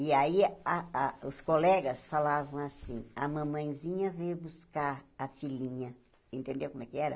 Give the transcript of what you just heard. E aí, a a os colegas falavam assim, a mamãezinha veio buscar a filhinha, entendeu como é que era?